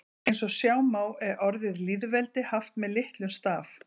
Eins og sjá má er orðið lýðveldi haft með litlum staf.